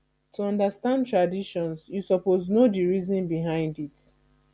to understand traditions you suppose know the reason behind it